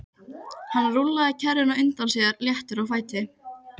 Hann rúllaði kerrunni á undan sér léttur á fæti.